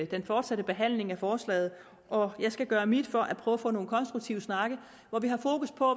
den fortsatte behandling af forslaget og jeg skal gøre mit for at prøve at få nogle konstruktive snakke hvor vi har fokus på